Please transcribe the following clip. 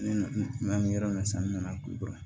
Ne bɛ yɔrɔ min sa n nana kulikoro